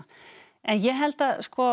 en ég held að